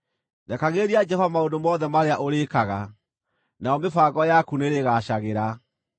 Rekagĩrĩria Jehova maũndũ mothe marĩa ũrĩĩkaga, nayo mĩbango yaku nĩĩrĩgaacagĩra.